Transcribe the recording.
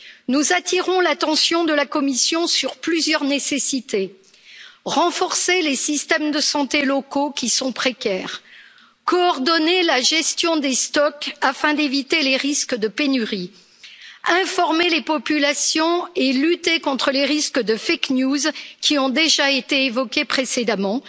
Nous attirons l'attention de la Commission sur plusieurs nécessités renforcer les systèmes de santé locaux qui sont précaires, coordonner la gestion des stocks afin d'éviter les risques de pénurie, informer les populations et lutter contre les risques de fake news qui ont déjà été évoqués précédemment,